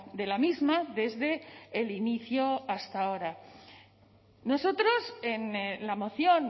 de la misma desde el inicio hasta ahora nosotros en la moción